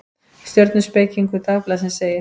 Stjörnuspekingur Dagblaðsins segir: